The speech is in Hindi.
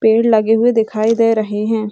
पेड़ लगे हुए दिखाई दे रहे हैं।